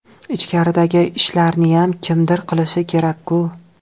Ichkaridagi ishlarniyam kimdir qilishi kerak-ku.